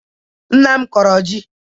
Nna m kụrụ ji.